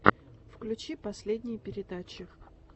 включи последние передачи